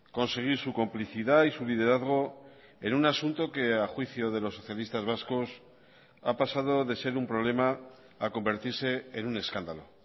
conseguir su complicidad y su liderazgo en un asunto que a juicio de los socialistas vascos ha pasado de ser un problema a convertirse en un escándalo